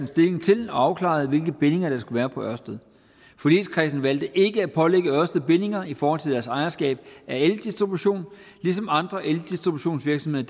stilling til og afklarede hvilke bindinger der skulle være på ørsted forligskredsen valgte ikke at pålægge ørsted bindinger i forhold til deres ejerskab af eldistribution ligesom andre eldistributionsvirksomheder